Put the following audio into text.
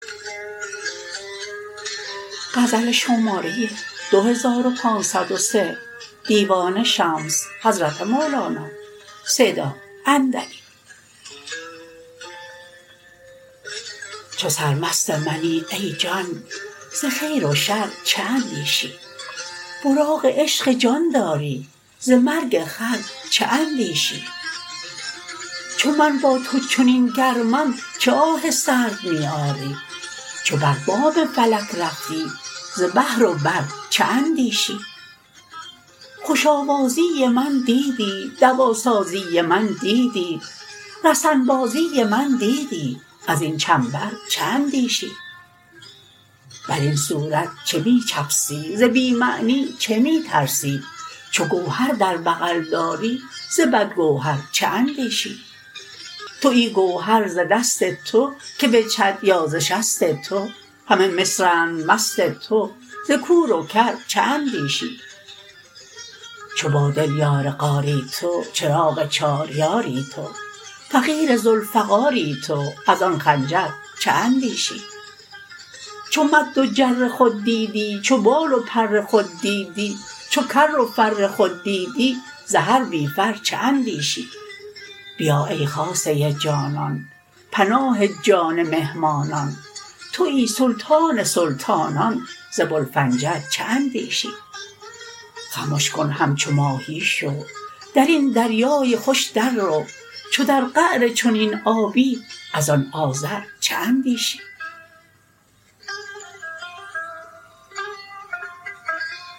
چو سرمست منی ای جان ز خیر و شر چه اندیشی براق عشق جان داری ز مرگ خر چه اندیشی چو من با تو چنین گرمم چه آه سرد می آری چو بر بام فلک رفتی ز بحر و بر چه اندیشی خوش آوازی من دیدی دواسازی من دیدی رسن بازی من دیدی از این چنبر چه اندیشی بر این صورت چه می چفسی ز بی معنی چه می ترسی چو گوهر در بغل داری ز بدگوهر چه اندیشی توی گوهر ز دست تو که بجهد یا ز شست تو همه مصرند مست تو ز کور و کر چه اندیشی چو با دل یار غاری تو چراغ چار یاری تو فقیر ذوالفقاری تو از آن خنجر چه اندیشی چو مد و جر خود دیدی چو بال و پر خود دیدی چو کر و فر خود دیدی ز هر بی فر چه اندیشی بیا ای خاصه جانان پناه جان مهمانان توی سلطان سلطانان ز بوالفنجر چه اندیشی خمش کن همچو ماهی شو در این دریای خوش دررو چو در قعر چنین آبی از آن آذر چه اندیشی